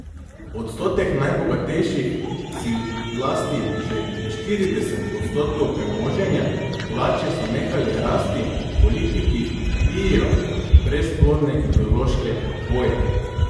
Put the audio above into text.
Odstotek najbogatejših si lasti že štirideset odstotkov premoženja, plače so nehale rasti, politiki bijejo brezplodne ideološke boje.